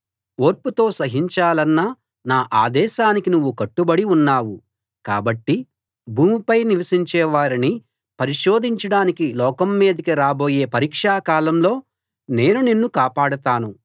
ఓర్పుతో సహించాలన్న నా ఆదేశానికి నువ్వు కట్టుబడి ఉన్నావు కాబట్టి భూమిపై నివసించే వారిని పరిశోధించడానికి లోకం మీదికి రాబోయే పరీక్షా కాలంలో నేను నిన్ను కాపాడతాను